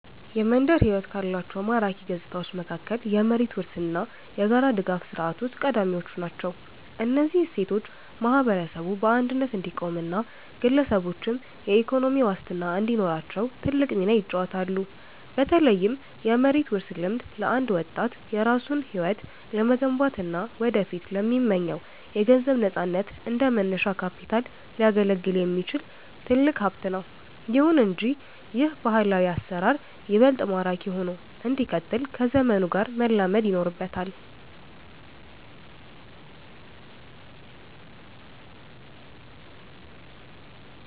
የመንደር ሕይወት ካሏቸው ማራኪ ገጽታዎች መካከል የመሬት ውርስ እና የጋራ ድጋፍ ሥርዓቶች ቀዳሚዎቹ ናቸው። እነዚህ እሴቶች ማህበረሰቡ በአንድነት እንዲቆምና ግለሰቦችም የኢኮኖሚ ዋስትና እንዲኖራቸው ትልቅ ሚና ይጫወታሉ። በተለይም የመሬት ውርስ ልምድ፣ ለአንድ ወጣት የራሱን ሕይወት ለመገንባትና ወደፊት ለሚመኘው የገንዘብ ነፃነት እንደ መነሻ ካፒታል ሊያገለግል የሚችል ትልቅ ሀብት ነው። ይሁን እንጂ ይህ ባህላዊ አሰራር ይበልጥ ማራኪ ሆኖ እንዲቀጥል ከዘመኑ ጋር መላመድ ይኖርበታል።